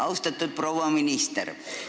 Austatud proua minister!